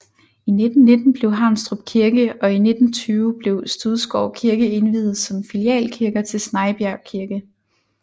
I 1919 blev Haunstrup Kirke og i 1920 blev Studsgård Kirke indviet som filialkirker til Snejbjerg Kirke